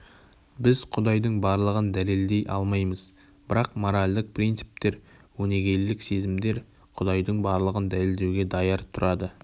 біз құдайдың барлығын дәлелдей алмаймыз бірақ моральдық принциптер өнегелілік сезімдер құдайдың барлығын дәлелдеуге даяр тұрады